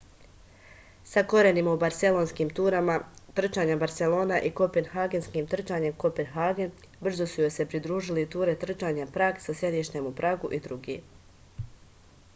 sa korenima u barselonskim turama trčanja barselona i kopenhagenskim trčanjem kopenhagen brzo su joj se pridružili ture trčanja prag sa sedištem u pragu i drugi